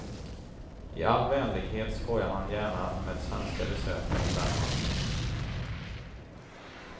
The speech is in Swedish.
I all vänlighet skojar han gärna med svenska besökare om den matchen.